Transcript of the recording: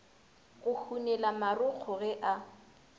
go hunela marokgo ge a